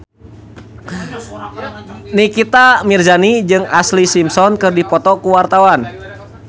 Nikita Mirzani jeung Ashlee Simpson keur dipoto ku wartawan